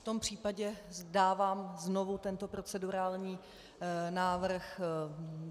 V tom případě dávám znovu tento procedurální návrh.